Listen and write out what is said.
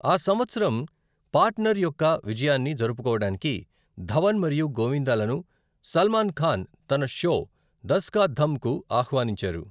ఆ సంవత్సరం 'పార్టనర్' యొక్క విజయాన్ని జరుపుకోవడానికి ధవన్ మరియు గోవిందాలను సల్మాన్ ఖాన్ తన షో దస్ కా ధమ్ కు ఆహ్వానించారు.